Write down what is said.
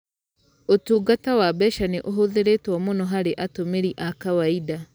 Ũtungata wa mbeca nĩ ũhũthĩrĩtwo muno harĩ atũmĩri a kawaida